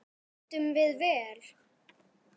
Veiddum við vel.